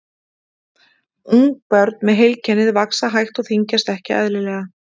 Ungbörn með heilkennið vaxa hægt og þyngjast ekki eðlilega.